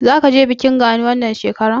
Zaka je bikin Gani wannan shekarar?